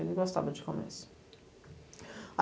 Ele gostava de comércio.